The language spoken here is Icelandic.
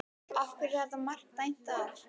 Af hverju var þetta mark dæmt af?